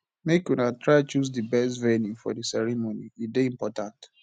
make una try choose di best venue for di ceremony e dey important